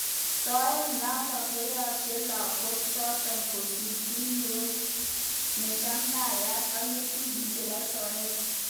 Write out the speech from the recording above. Soet notok konyache lenguk chotok kosir ik ngoret nimachamdayat ik nga'atutik chebo soet.